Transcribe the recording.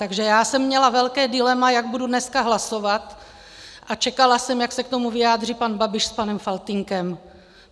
Takže já jsem měla velké dilema, jak budu dneska hlasovat, a čekala jsem, jak se k tomu vyjádří pan Babiš s panem Faltýnkem.